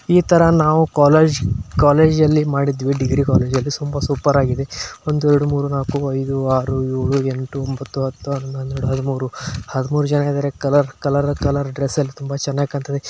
ಇತರ ನಾವೇ ಮಾಡಿದ್ವಿ ಕಾಲೇಜಲ್ಲಿ ಡಿಗ್ರಿ ಕಾಲೇಜಿಲಿ ಸೂಪರ್ ಆಗಿ ಮಾಡಿದ್ವಿ ದ್ದು ಒಂದು ಎರಡು ಮೂರು ನಾಲ್ಕು ಐದು ಆರು ಏಳು ಎಂಟು ಒಂಬತ್ತು ಹತ್ತು ಹನ್ನೊಂದ್ ಹನ್ನೆರಡು ಹದಿಮೂರ್ ಜನ ಇದಾರೆ ಕಲರ್ ಕಲರ್ ಕಲರ್ ಡ್ರೆಸ್ಸಲ್ಲಿ ತುಂಬಾ ಚೆನ್ನಾಗಿ ಕಾಣ್ತಾಇದಾರೆ .